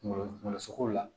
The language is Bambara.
Kungolo kungolo sogo la